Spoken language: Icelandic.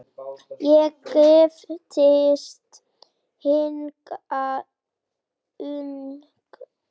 Ég giftist hingað ung